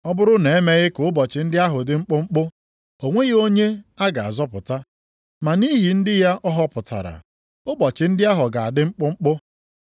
“Ọ bụrụ na-emeghị ka ụbọchị ndị ahụ dị mkpụmkpụ, o nweghị onye a ga-azọpụta, ma nʼihi ndị ya ọ họpụtara, ụbọchị ndị ahụ ga-adị mkpụmkpụ.